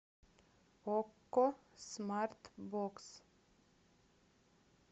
окко смарт бокс